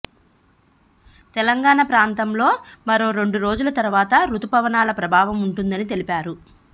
తెలంగాణ ప్రాంతంలో మరో రెండు రోజుల తరువాత రుతుపనాల ప్రభావం ఉంటుందని తెలిపారు